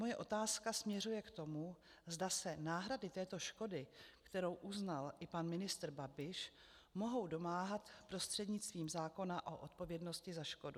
Moje otázka směřuje k tomu, zda se náhrady této škody, kterou uznal i pan ministr Babiš, mohou domáhat prostřednictvím zákona o odpovědnosti za škodu.